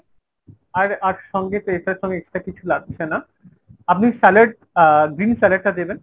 আর আর সঙ্গে তো এটার সঙ্গে extra কিছু লাগছে না। আপনি salad আহ green salad টা দেবেন।